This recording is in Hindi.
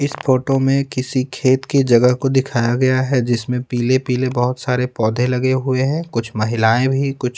इस फोटो में किसी खेत की जगह को दिखाया गया है जिसमें पीले-पीले बहुत सारे पौधे लगे हुए हैं कुछ महिलाएं भी कुछ--